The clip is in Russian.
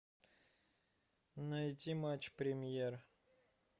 найти матч премьер